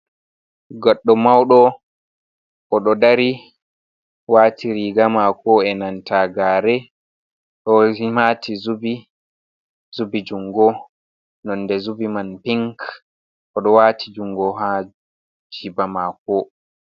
Goɗɗo mauɗo oɗo dari wati riga mako e nanta gare ɗo mati zubi, zubi jungo nonde zubi man pink, oɗo wati jungo ha jiba mako.